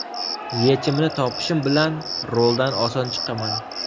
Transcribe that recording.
Yechimini topishim bilan roldan oson chiqaman.